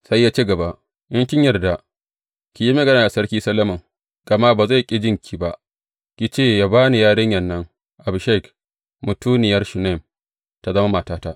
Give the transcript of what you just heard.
Sai ya ci gaba, In kin yarda, ki yi magana da Sarki Solomon, gama ba zai ƙi jinki ba, ki ce yă ba ni yarinyan nan, Abishag, mutuniyar Shunam, tă zama matata.